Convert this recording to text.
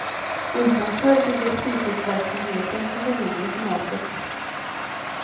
Utanför ligger fritidsverksamheten i det mindre formatet.